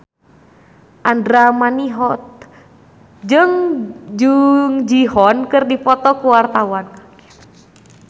Andra Manihot jeung Jung Ji Hoon keur dipoto ku wartawan